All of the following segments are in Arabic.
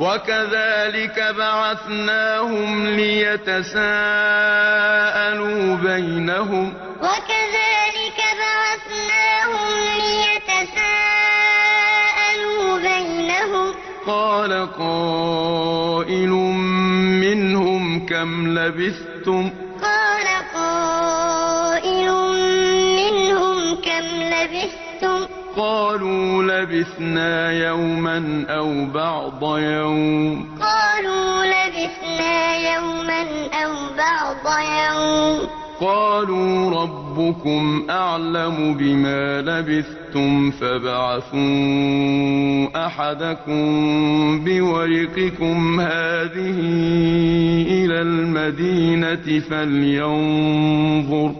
وَكَذَٰلِكَ بَعَثْنَاهُمْ لِيَتَسَاءَلُوا بَيْنَهُمْ ۚ قَالَ قَائِلٌ مِّنْهُمْ كَمْ لَبِثْتُمْ ۖ قَالُوا لَبِثْنَا يَوْمًا أَوْ بَعْضَ يَوْمٍ ۚ قَالُوا رَبُّكُمْ أَعْلَمُ بِمَا لَبِثْتُمْ فَابْعَثُوا أَحَدَكُم بِوَرِقِكُمْ هَٰذِهِ إِلَى الْمَدِينَةِ فَلْيَنظُرْ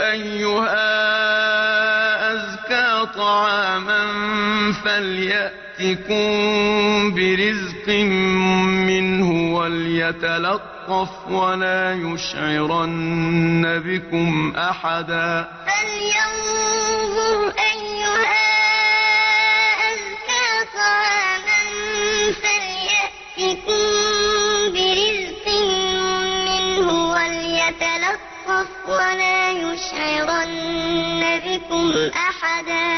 أَيُّهَا أَزْكَىٰ طَعَامًا فَلْيَأْتِكُم بِرِزْقٍ مِّنْهُ وَلْيَتَلَطَّفْ وَلَا يُشْعِرَنَّ بِكُمْ أَحَدًا وَكَذَٰلِكَ بَعَثْنَاهُمْ لِيَتَسَاءَلُوا بَيْنَهُمْ ۚ قَالَ قَائِلٌ مِّنْهُمْ كَمْ لَبِثْتُمْ ۖ قَالُوا لَبِثْنَا يَوْمًا أَوْ بَعْضَ يَوْمٍ ۚ قَالُوا رَبُّكُمْ أَعْلَمُ بِمَا لَبِثْتُمْ فَابْعَثُوا أَحَدَكُم بِوَرِقِكُمْ هَٰذِهِ إِلَى الْمَدِينَةِ فَلْيَنظُرْ أَيُّهَا أَزْكَىٰ طَعَامًا فَلْيَأْتِكُم بِرِزْقٍ مِّنْهُ وَلْيَتَلَطَّفْ وَلَا يُشْعِرَنَّ بِكُمْ أَحَدًا